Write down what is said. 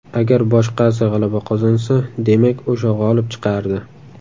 Agar boshqasi g‘alaba qozonsa, demak, o‘sha g‘olib chiqardi.